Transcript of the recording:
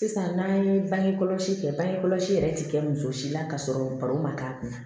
Sisan n'an ye bangekɔlɔsi kɛ bangekɔlɔsi yɛrɛ ti kɛ muso si la ka sɔrɔ baro ma k'a kun na